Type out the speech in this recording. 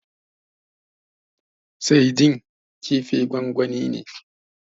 Saidin kifin gwangwani ne.